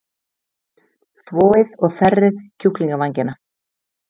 Þvoið og þerrið kjúklingavængina.